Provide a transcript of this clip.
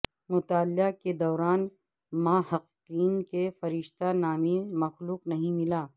مطالعہ کے دوران محققین کے فرشتہ نامی مخلوق نہیں ملا